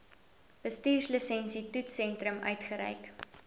bestuurslisensie toetssentrum uitgereik